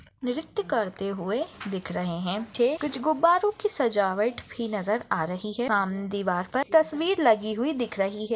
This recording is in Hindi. नृत्य करते हुए दिख रहे हैं चे कुछ गुब्बारों की सजावट भी नज़र आ रही हैं सामने दीवार पर तस्वीर लगी हुई दिख रही हैं।